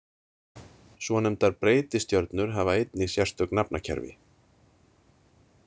Svonefndar breytistjörnur hafa einnig sérstök nafnakerfi.